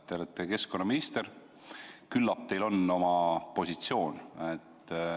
Te olete keskkonnaminister, küllap teil on oma positsioon.